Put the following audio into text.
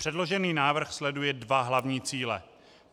Předložený návrh sleduje dva hlavní cíle.